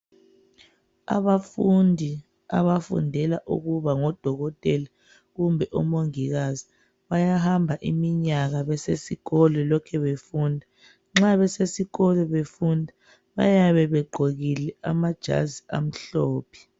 abafundi abafundela ukuba ngodokotela kumbe omongikazi bayahamba iminyaka besisikolo lokhe befunda nxa besesikolo befunda bayabe begqokile amajazi amhlophe